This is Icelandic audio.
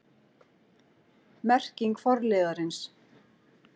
Merking forliðarins